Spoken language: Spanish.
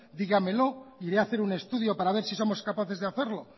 dígamelo iré a hacer un estudio para ver si somos capaces de hacerlo